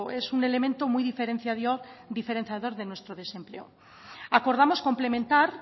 es un elemento muy diferenciador de nuestro desempleo acordamos complementar